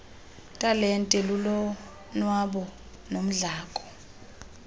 talente lulonwabo nodlamko